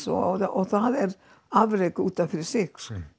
og það er afrek út af fyrir sig